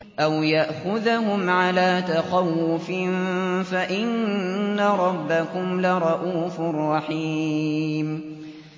أَوْ يَأْخُذَهُمْ عَلَىٰ تَخَوُّفٍ فَإِنَّ رَبَّكُمْ لَرَءُوفٌ رَّحِيمٌ